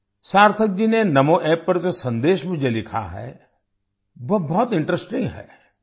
सार्थक जी ने नामो App पर जो संदेश मुझे लिखा है वो बहुत इंटरेस्टिंग है